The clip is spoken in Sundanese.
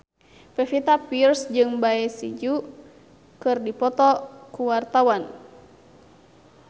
Pevita Pearce jeung Bae Su Ji keur dipoto ku wartawan